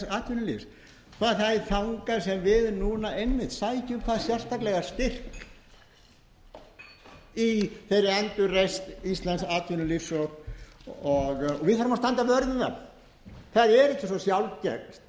atvinnulífs og það er þangað sem við núna einmitt sækjum hvað sérstaklega styrk í þeirri endurreisn íslensks atvinnulífs og við þurfum að standa vörð um það það er ekki svo sjálfgert